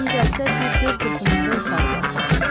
Lazım gəlsə bir göz qırpımında yuxarı qalxaram.